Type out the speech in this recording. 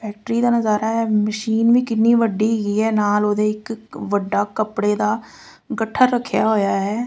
Factory ਦਾ ਨਜ਼ਾਰਾ ਆ ਮਸ਼ੀਨ ਵੀ ਕਿੰਨੀ ਵੱਡੀ ਹੈਗੀ ਆ ਨਾਲ ਉਹਦੇ ਇੱਕ ਵੱਡਾ ਕੱਪੜੇ ਦਾ ਗੱਠਾ ਰੱਖਿਆ ਹੋਇਆ ਹੈ।